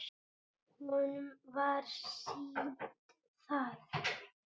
Honum var sýnt það.